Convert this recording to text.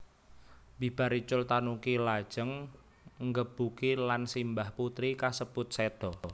Bibar icul tanuki lajeng nggebuki lan simbah putri kasebut séda